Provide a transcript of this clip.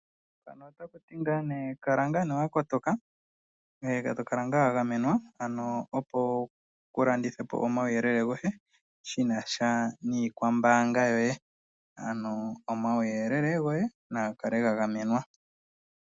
Mpano ota ku ti ngaa ne kala ngaa nee wakotoka, ngweye tokala wagamenwa opo kulandithepo omauyelele goye shinasha niikwambaanga yoye, ano omauyelele goye nagakale ga gamenwa.